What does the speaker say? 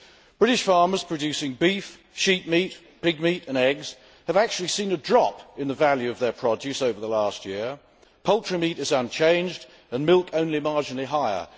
British farmers producing beef, sheep meat, pig meat and eggs have actually seen a drop in the value of their produce over the last year poultry meat is unchanged and milk only marginally higher